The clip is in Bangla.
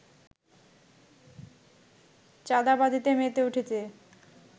চাঁদাবাজিতে মেতে উঠেছে